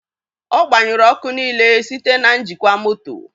Ọ gbanyụrụ ọkụ niile site na njikwa moto.